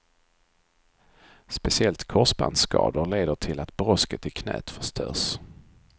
Speciellt korsbandsskador leder till att brosket i knät förstörs.